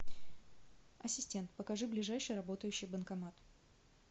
ассистент покажи ближайший работающий банкомат